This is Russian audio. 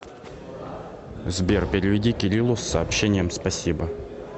сбер переведи кириллу с сообщением спасибо